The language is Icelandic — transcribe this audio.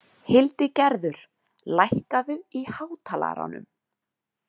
Hildigerður, lækkaðu í hátalaranum.